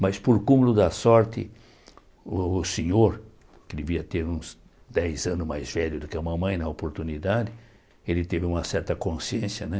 Mas por cúmulo da sorte, o o senhor, que devia ter uns dez anos mais velho do que a mamãe na oportunidade, ele teve uma certa consciência, né?